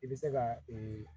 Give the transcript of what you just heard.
I bɛ se ka ee